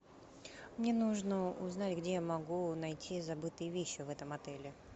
мне нужно узнать где я могу найти забытые вещи в этом отеле